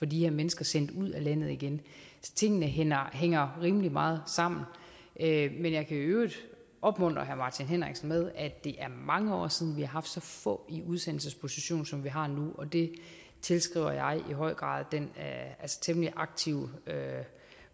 de her mennesker sendt ud af landet igen tingene hænger hænger rimelig meget sammen men jeg kan i øvrigt opmuntre herre martin henriksen med at det er mange år siden vi har haft så få i udsendelsesposition som vi har nu og det tilskriver jeg i høj grad den temmelig aktive